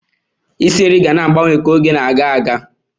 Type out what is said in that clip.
Isi nri ga na-agbanwe ka oge na-aga aga.